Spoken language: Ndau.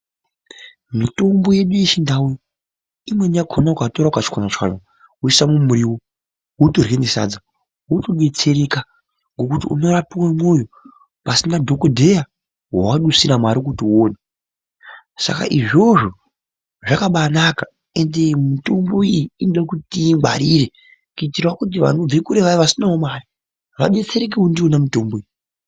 Mitombo yedu yeChiNdau, imweni yakona ukatora ukachwanya-chwanya woisa mumuriwo wotorye nesadza, wotodetsereka, Ngekuti unorapiwe mwoyo pasina dhokodheya wawadusira mare kuti uone. Saka izvozvo zvakabanaka, ende mitombo iyi inode kuti tiingwarire, kuitirawo kuti vanobve kure vaya vasinawo mare, vadetserekewo ndiwona mitombo iyi.